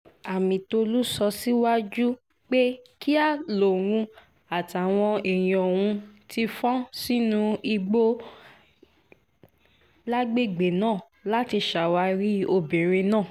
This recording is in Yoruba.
amitólú sọ síwájú pé kíá lòun àtàwọn èèyàn òun ti fọ́n sínú igbó lágbègbè náà láti ṣàwárí obìnrin náà